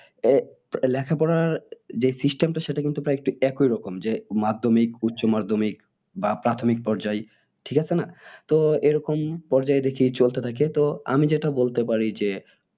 এর লেখাপড়ার যে system টা সেটা কিন্তু প্রায় একটু একই রকম যে মাধ্যমিক উচ্চ মাধ্যমিক বা প্রাথমিক পর্যায় ঠিক আছে না তো এরকম পর্যায়ে দেখি চলতে থাকে তো আমি যেটা বলতে পারি যে